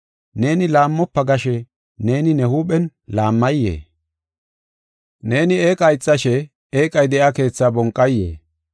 Neeni, “Laammofa” gashe, neeni ne huuphen laammayee? Neeni eeqa ixashe, eeqay de7iya keethaa bonqayee?